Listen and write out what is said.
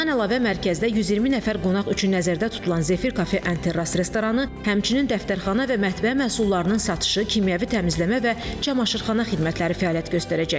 Bundan əlavə, mərkəzdə 120 nəfər qonaq üçün nəzərdə tutulan Zefir kafe restoranı, həmçinin dəftərxana və mətbəx məhsullarının satışı, kimyəvi təmizləmə və camaşırxana xidmətləri fəaliyyət göstərəcək.